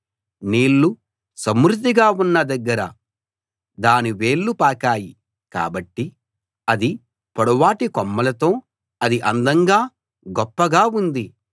నీళ్ళు సమృద్ధిగా ఉన్న దగ్గర దాని వేళ్ళు పాకాయి కాబట్టి అది పొడవాటి కొమ్మలతో అది అందంగా గొప్పగా ఉంది